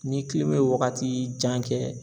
Ni ye wagati jan kɛ